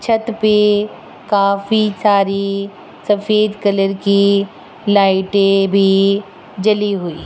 छत पे काफी सारी सफेद कलर की लाइटे भी जली हुई --